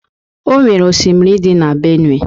Onwere osimiri dị na Benue